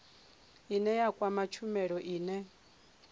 ine ya kwama tshumelo ine